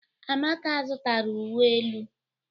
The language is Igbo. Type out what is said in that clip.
Amaka zụtara uwe elu.